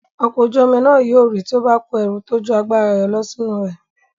Ọkọ̀ ojú-omi náà yóò rì tí ó bá kó ẹrù tó ju agbára rẹ̀ lọ sínú rẹ̀.